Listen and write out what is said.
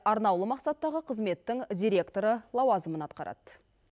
арнаулы мақсаттағы қызметтің директоры лауазымын атқарады